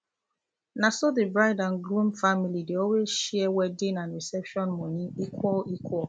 naso the bride and groom family dey always share wedding and reception money equal equal